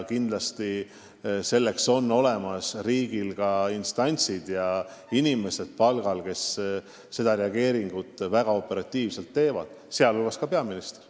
Kindlasti on riigil selleks olemas instantsid ja palgal inimesed, kes väga operatiivselt reageerivad, sh ka peaminister.